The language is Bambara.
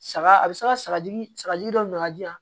Saga a bɛ se ka sagaji sagaji dɔ ka di yan